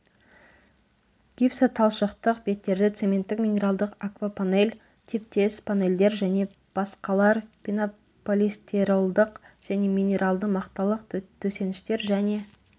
гипсоталшықтық беттерді цементтік минералдық аквапанель типтес панельдер және басқалар пенополистеролдық және минералды мақталық төсеніштер және